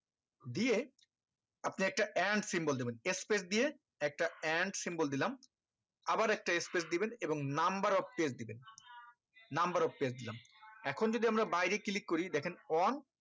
দিয়ে আপনি একটা and symbol দেবেন space দিয়ে একটা and symbol দিলাম আবার একটা space দিবেন এবং number of page দিবেন number of page দিলাম এখন যদি আমরা বাইরে click করি দেখেন one